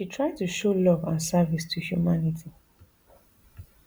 she try to show love and service to humanity